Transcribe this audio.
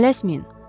Tələsməyin.